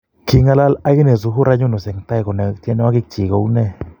King'alal akinee Zuhura Yunus , en tai konai tyenwokik kyik kou nee